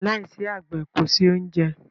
Lai si àgbẹ̀ kòsí oúnjẹ